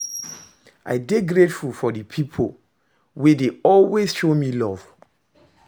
I dey grateful for di pipo wey dey always show me luv